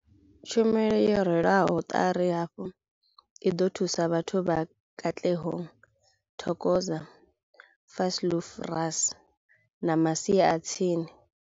Tshumelo yo rwelwaho ṱari hafhu i ḓo thusa vhathu vha Katlehong, Thokoza, Vosloorus na masia a tsini.